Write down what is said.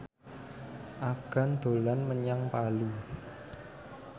Afgan dolan menyang Palu